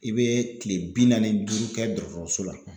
I bɛ kile bi naani duuru kɛ dɔrɔtɔrɔso la